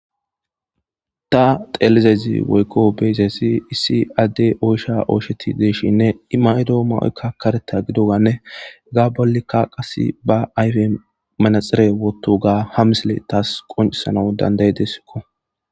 Ta xelizaysi woyko beyiyasi issi adeyi oysha oychetidi de'iishininne I mayido mayoyka kareta gididoganne , hega bollika qase ba ayfwni manaxera wotoga ha misiley taasi qoncisanasi danda'idesko.